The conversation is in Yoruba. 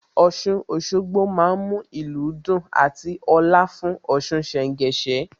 Ọ̀ṣun Òṣogbo má ń mú ìlú dùn àti ọ̀la fún Ọ̀ṣun ṣẹ̀ńgẹṣẹ́